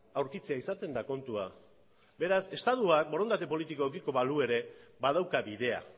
aurkitzea izaten da kontua beraz estatua borondate politikoa edukiko balu ere badauka bidea